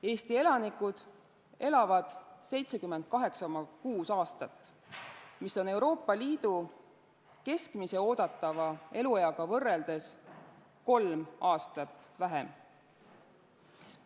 Eesti elanikud elavad 78,6 aastat, mis on Euroopa Liidu keskmise oodatava elueaga võrreldes kolm aastat vähem.